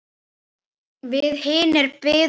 Við hinir biðum á teig.